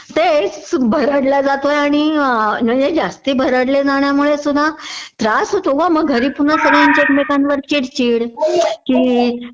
तेच सुभरडला जातोय आणि म्हणजे जास्ती भरडले जाण्यामुळेसुद्धा त्रास होतो ग मग घरी पुन्हा सगळ्या लोकांच्यावर चिडचिड कि